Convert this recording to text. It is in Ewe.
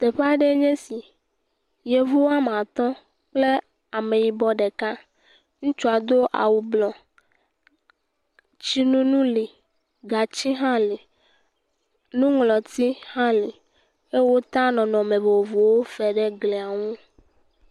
Teƒe aɖee nye esi. Yevu wɔme atɔ̃ kple ameyibɔ ɖeka. Ŋutsua do awu blɔ. Tsinonu li. Gatsi hã li. Nuŋlɔti hã li. Wota nɔnɔnme vovovowo fe ɖe glia nu.